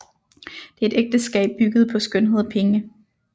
Det er et ægteskab bygget på skønhed og penge